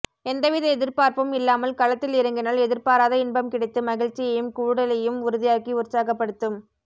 எந்தவித எதிர்பார்ப்பும் இல்லாமல் களத்தில் இறங்கினால் எதிர்பாராத இன்பம் கிடைத்து மகிழ்ச்சியையும் கூடலையும் உறுதியாக்கி உற்சாகப்படுத்தும்